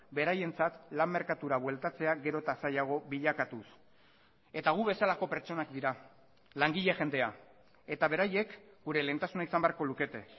beraientzat lan merkatura bueltatzea gero eta zailago bilakatuz eta gu bezalako pertsonak dira langile jendea eta beraiek gure lehentasuna izan beharko lukete